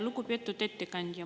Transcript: Lugupeetud ettekandja!